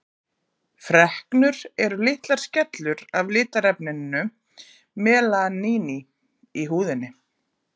freknur eru litlar skellur af litarefninu melaníni í húðinni